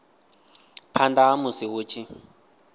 phanda ha musi hu tshi